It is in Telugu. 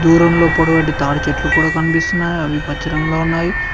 దూరంలో పొడవాటి తాడి చెట్లు కూడ కనిపిస్తున్నాయి అవి పచ్చ రంగులో ఉన్నాయి.